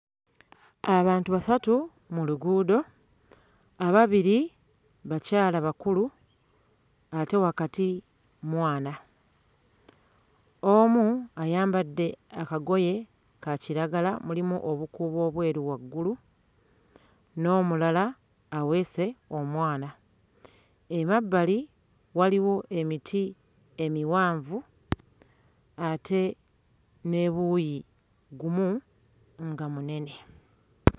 Abantu basatu mu luguudo, ababiri bakyala bakulu ate wakati mwana, omu ayambadde akagoye ka kiragala mulimu obukuubo obweru waggulu, n'omulala aweese omwana, emabbali waliwo emiti emiwanvu ate n'ebuuyi gumu nga munene.